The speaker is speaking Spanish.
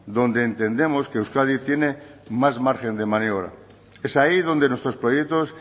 donde entendemos que euskadi tiene más margen de maniobra es ahí donde nuestros proyectos